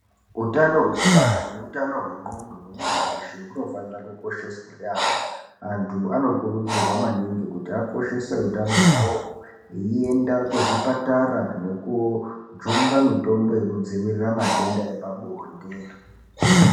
Utano hwekubara nehutano hwengqondo hwemuntu weshe unofanira kukosheswa yaamho, antu anokurudzirwa maningi kuti akoshese hutano hwawo eienda kuzvipatara nekujungwa mitombo yekudzivirira matenda epabonde.